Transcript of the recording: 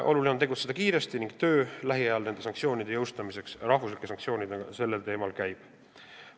Oluline on tegutseda kiiresti ning töö nende sanktsioonide – rahvuslike sanktsioonide – jõustamiseks käib.